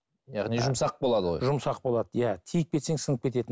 яғни жұмсақ болады ғой жұмсақ болады иә тиіп кетсең сынып кетеді